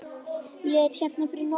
Ég er hérna fyrir norðan.